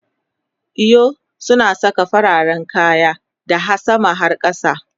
eyo suna Saka fararen kaya daha sama har kasa